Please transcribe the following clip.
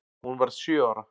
Hún varð sjö ára.